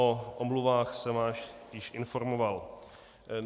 O omluvách jsem vás již informoval.